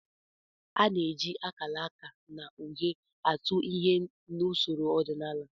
A na-eji akalaka na uhe atụ ihe n'usoro ọdịnala